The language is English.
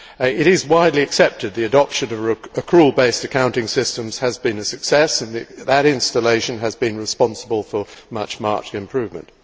It is widely accepted that the adoption of accrual based accounting systems has been a success and that that installation has been responsible for much marked improvement.